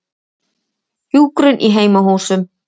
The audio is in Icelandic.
Hjúkrun í heimahúsum.